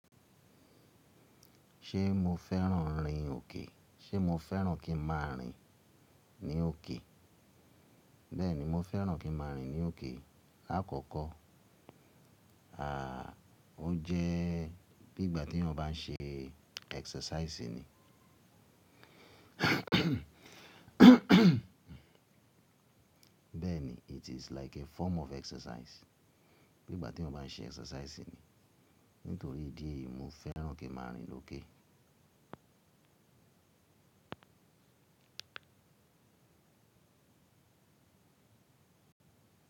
Ṣé mo fẹ́ràn rìn òkè? Ṣé mo fẹ́ràn kí ń má a rìn ní òkè? Bẹ́ẹ̀ni, mo fẹ́ràn kí ń má a rìn ní òkè. Láàkọ́kọ́, à, ó jẹ́ bí ìgbà tí ènìyàn bá n ṣe exercise ni. Bẹ́ẹ̀ni, it is like a form of exercise. Bí ìgbà tí ènìyàn bá n ṣe exercise ni. Nítorí ìdí èyí, mo fẹ́ràn kí ń má a rìn lókè.